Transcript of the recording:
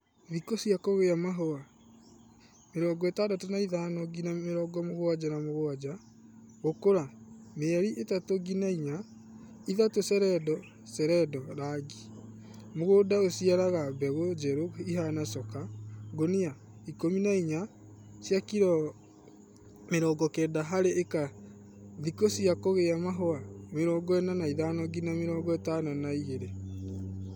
Thikũ cia kũgĩa mahũa:65-77 Gũkũra:mĩeri 3-4 3 seredo seredo rangi:mũgũnda ũciaraga mbegũ njerũ ihana coka :ngũnia 14(cia kilo 90) harĩ ĩka Thikũ cia kũgĩa mahũa 45-52